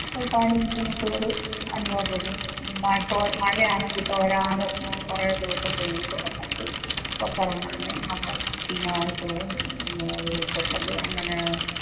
ഒരുപാട് ബുദ്ധിമുട്ടുകള് അനുഭവപ്പെടും മഴ തോ മഴയാണെങ്കിൽ തോരാതെ കുറേ ദിവസം പെയ്തു എന്നിട്ട് പുറത്തിറങ്ങാനും നമുക്ക് കൃഷിനാശവും പിന്നെ ഉരുള്പൊട്ടല് അങ്ങനെ